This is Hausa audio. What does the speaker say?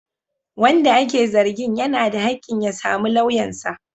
Wanda ake zargin yana da hakkin ya samu lauyansa.